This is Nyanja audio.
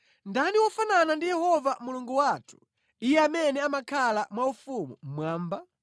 Ndani wofanana ndi Yehova Mulungu wathu, Iye amene amakhala mwaufumu mmwamba?